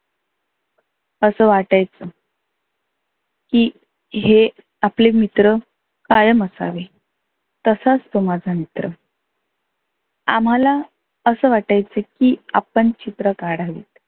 असं वाटायच की हे आपले मित्र कायम असावे. तसाच तो माझा मित्र. आम्हाला असं वाटायचं की आपण चित्र काढावे